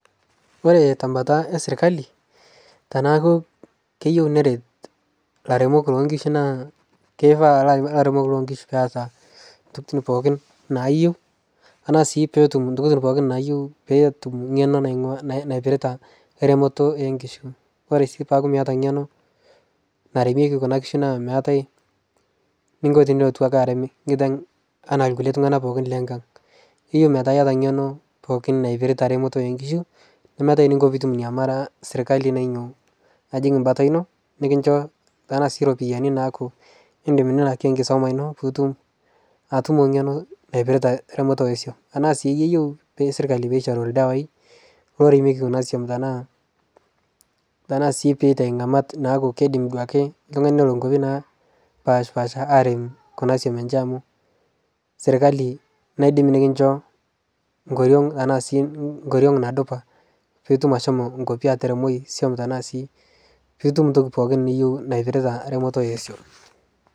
Ore tembata e sirkali teniaku keyieu neret ilaramatak loonkishu naa, kenarikino neeta ilaramatak loonkishu intokitin pooki naayiu, enaa sii peyie etum eng'eno naijo eneremoto onkishu. Ore sii teniaku miata eng'eno naremieki kuna kishu meeta eningo peyie ilotu ake erem nkiteng' enaa likae tung'anak pooki lenkang'. Eyieu niata ng'eno pooki naippirta remoto onkishu nemiata ening'o peyie iitum iime serkali naishoru aajing embata iino nekincho sii ropiyiani naaku iidim nilakie enkisuma iino, pee itum eng'eno naipirta eramatare oswam. Enaa sii keyieu serkali pee eishoru ildawai, oremieki kuna swam tenaa sii pee itau ing'amat naaku kiidim duake oltung'ani nelo ikwapi napashpaasha arem kuna swam eenche amuu serkali neidim nekincho nkoriong tenaa nadupa pee idup ashomo ashomo ataremo swam tenaa sii piitum toki nuyieu naipirita ramatare oswam.